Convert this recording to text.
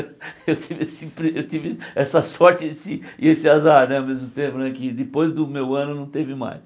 Eu tive esse impre eu tive essa sorte e esse e esse azar né ao mesmo tempo, que depois do meu ano não teve mais.